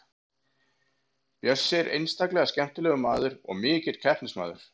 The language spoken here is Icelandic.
Bjössi er einstaklega skemmtilegur maður og mikill keppnismaður.